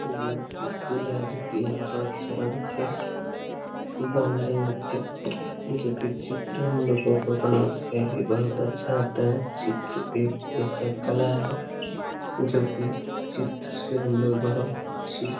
ये स्कूल है जो की यहाँ बहुत सारा बच्चे बना रहें हैं चित्र जो की चित्र हम लोगों को बनाना चाहिए बहुत अच्छा होता है चित्र एक ऐसा कला है जो की चित्र से हम लोग बहुत चीज --